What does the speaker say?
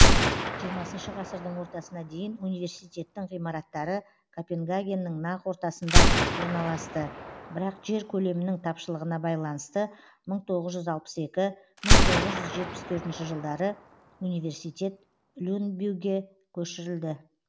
жиырмасыншы ғасырдың ортасына дейін университеттің ғимараттары копенгагеннің нақ ортасында орналасты бірақ жер көлемінің тапшылығына байланысты мың тоғыз жүз алпыс екі мың тоғыз жүз жетпіс төртінші жылдары университет люнбюге көшірілді